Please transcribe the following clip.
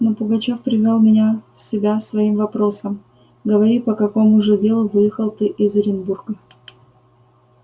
но пугачёв привёл меня в себя своим вопросом говори по какому же делу выехал ты из оренбурга